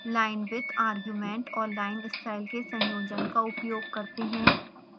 linewidth argument और linestyle के संयोजन का उपयोग करते हैं